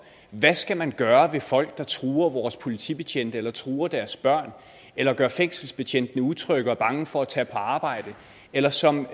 hvad skal man gøre ved folk der truer vores politibetjente eller truer deres børn eller gør fængselsbetjentene utrygge og bange for at tage på arbejde eller som